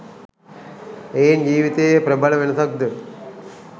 එයින් ජීවිතයේ ප්‍රබල වෙනසක්ද